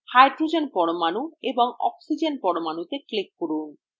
hydrogen পরমাণু এবং oxygen পরমাণুতে click করুন